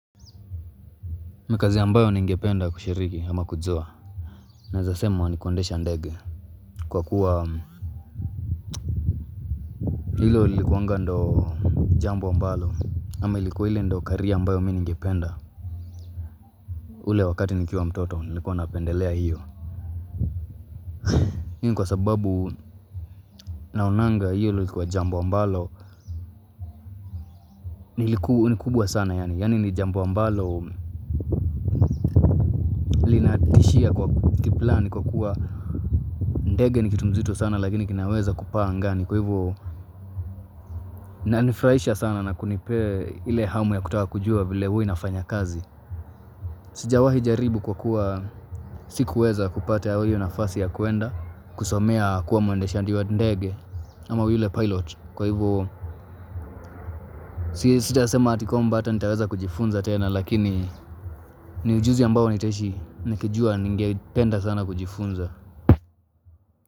Na kazi ambayo ni ingependa kushiriki ama kujua. Naeza sema ni kuendesha ndege. Kwa kuwa hilo lilikuanga ndo jambo ambalo. Ama ilikuwa ile ndo career ambayo mimi ningependa. Ule wakati nikiwa mtoto nilikuwa napendelea hiyo. Iyo ni kwa sababu naonanga hiyo ilikuwa jambo ambalo. Ni kubwa sana yani. Yani ni jambo ambalo. Pia kwa kiplani kwa kuwa ndege ni kitu mzito sana. Lakini kinaweza kupaa angani. Kwa hivo inanifrahisha sana na kunipee. Ile hamu ya kutaka kujua vile hua inafanya kazi Sijawahi jaribu kwa kuwa sikuweza kupata iyo nafasi ya kuenda kusomea kuwa mwendesha ndege ama yule pilot Kwa hivo sita sema ati kwamba ata nitaweza kujifunza tena Lakini ni ujuzi ambao nitaishi Nikijua ningependa sana kujifunza.